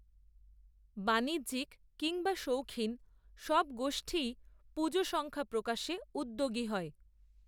বাণিজ্যিক, কিংবা শৌখিন সব গোষ্ঠীই পুজো সংখ্যা প্রকাশে, উদ্যোগী হয়